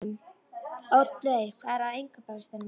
Oddleif, hvað er á innkaupalistanum mínum?